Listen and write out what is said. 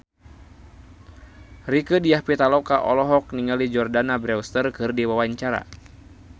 Rieke Diah Pitaloka olohok ningali Jordana Brewster keur diwawancara